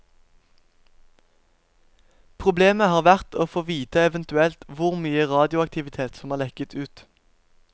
Problemet har vært å få vite eventuelt hvor mye radioaktivitet som har lekket ut.